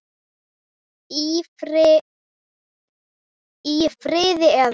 Í frí. eða?